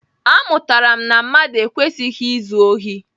Amụtara m na mmadụ ekwesịghị izu ohi.